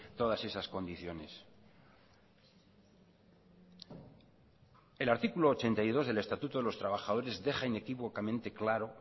todas esas condiciones el artículo ochenta y dos del estatuto de los trabajadores deja inequívocamente claro